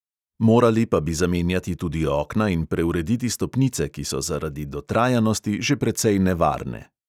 Morali pa bi zamenjati tudi okna in preurediti stopnice, ki so zaradi dotrajanosti že precej nevarne.